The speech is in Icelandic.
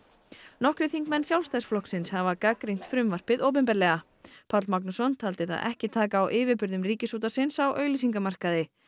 nokkrir þingmenn Sjálfstæðisflokksins hafa gagnrýnt frumvarpið opinberlega Páll Magnússon taldi það ekki taka á yfirburðum Ríkisútvarpsins á auglýsingamarkaði